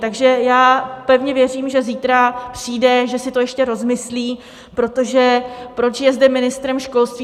Takže já pevně věřím, že zítra přijde, že si to ještě rozmyslí, protože proč je zde ministrem školství?